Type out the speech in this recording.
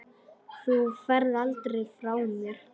Þú ferð aldrei frá mér.